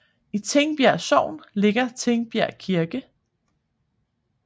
I Tingbjerg Sogn ligger Tingbjerg Kirke